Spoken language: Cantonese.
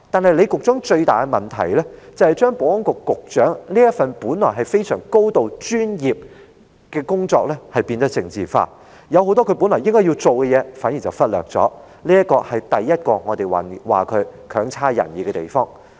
而李局長最大的問題，是把保安局局長這份本來高度專業的工作變得政治化，反而忽略了很多他本來要處理的事情，這是我們認為他的第一個表現差劣的地方。